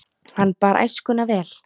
Hann bar æskuna vel.